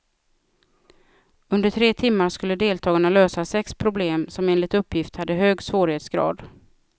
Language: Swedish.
Under tre timmar skulle deltagarna lösa sex problem som enligt uppgift hade hög svårighetsgrad.